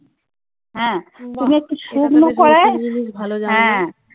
হ্যাঁ। তুমি একটু শুকনো কড়ায় । হ্যাঁ।